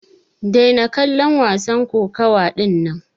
Daina kallon wasan kokawa dinnan!